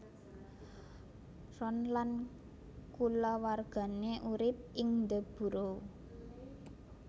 Ron lan kulawargané urip ing The Burrow